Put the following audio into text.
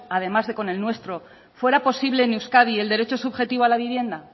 además de con el nuestro fuera posible en euskadi el derecho subjetivo a la vivienda